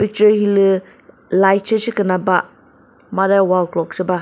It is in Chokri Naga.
hülü light she sheküna ba made wall clock she ba.